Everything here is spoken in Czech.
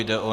Je to